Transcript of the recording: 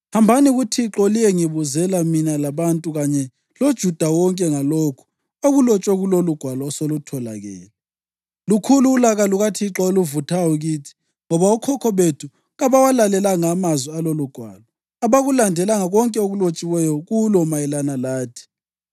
“Hambani kuThixo liyengibuzela mina labantu kanye loJuda wonke ngalokhu okulotshwe kulolugwalo osolutholakele. Lukhulu ulaka lukaThixo oluvuthayo kithi ngoba okhokho bethu kabawalalelanga amazwi alolugwalo: abakulandelanga konke okulotshiweyo kulo mayelana lathi.”